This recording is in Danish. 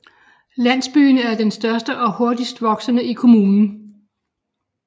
Landsbyen er den største og hurtigst voksende i kommunen